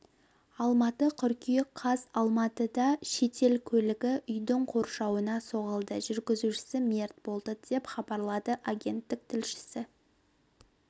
алматы қыркүйек қаз алматыда шетел көлігі үйдің қоршауына соғылды жүргізушісі мерт болды деп хабарлады агенттік тілшісі